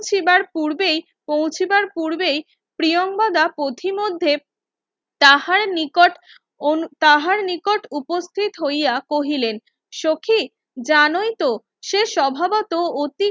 পৌঁছিবার পূর্বেই পৌঁছিবার পূর্বেই প্রিয়াঙ্গদা প্রথি মধ্যে তাহার নিকট তাহার নিকট উপস্থিত হইয়া কহিলেন সখি জানোই তো সে স্বভাবত